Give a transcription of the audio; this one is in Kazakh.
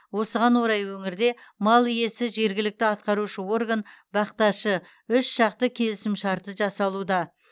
осыған орай өңірде мал иесі жергілікті атқарушы орган бақташы үшжақты келісімшарты жасалуда